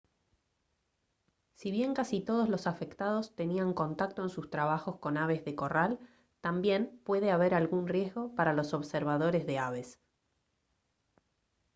si bien casi todos los afectados tenían contacto en sus trabajos con aves de corral también puede haber algún riesgo para los observadores de aves